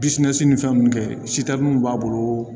ni fɛn ninnu kɛ b'a bolo